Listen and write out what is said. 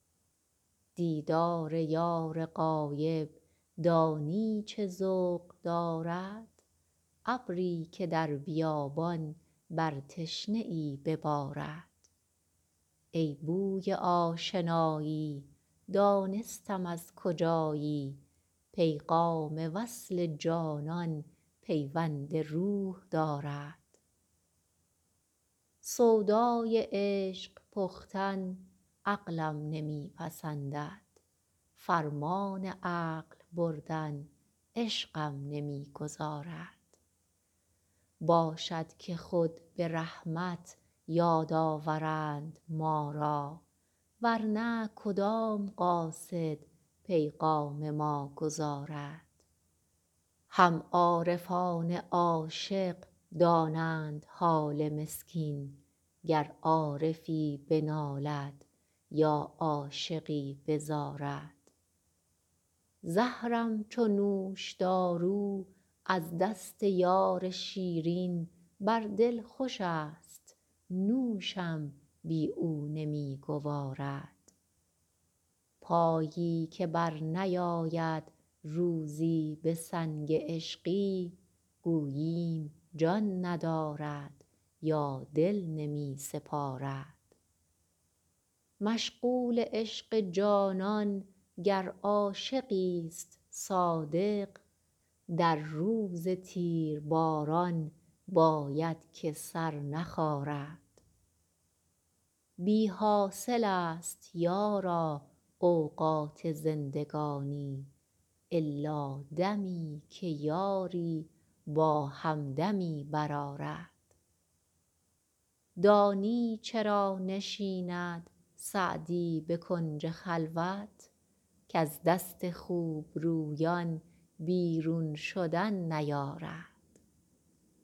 دیدار یار غایب دانی چه ذوق دارد ابری که در بیابان بر تشنه ای ببارد ای بوی آشنایی دانستم از کجایی پیغام وصل جانان پیوند روح دارد سودای عشق پختن عقلم نمی پسندد فرمان عقل بردن عشقم نمی گذارد باشد که خود به رحمت یاد آورند ما را ور نه کدام قاصد پیغام ما گزارد هم عارفان عاشق دانند حال مسکین گر عارفی بنالد یا عاشقی بزارد زهرم چو نوشدارو از دست یار شیرین بر دل خوشست نوشم بی او نمی گوارد پایی که برنیارد روزی به سنگ عشقی گوییم جان ندارد یا دل نمی سپارد مشغول عشق جانان گر عاشقیست صادق در روز تیرباران باید که سر نخارد بی حاصلست یارا اوقات زندگانی الا دمی که یاری با همدمی برآرد دانی چرا نشیند سعدی به کنج خلوت کز دست خوبرویان بیرون شدن نیارد